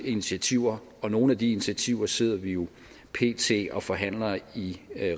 initiativer og nogle af de initiativer sidder vi jo pt og forhandler i